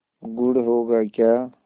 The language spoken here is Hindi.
गुड़ होगा क्या